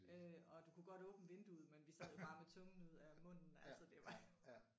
Øh og du kunne godt åbne vinduet men vi sad bare med tungen ud af munden altså det var jo